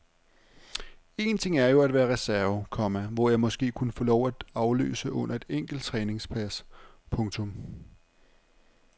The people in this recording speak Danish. Én ting er jo at være reserve, komma hvor jeg måske kunne få lov at afløse under et enkelt træningspas. punktum